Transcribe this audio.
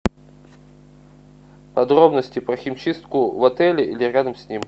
подробности про химчистку в отеле или рядом с ним